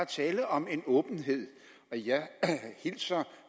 tale om en åbenhed jeg hilser